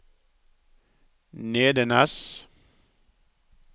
Nedenes